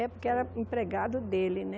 É, porque era empregado dele, né?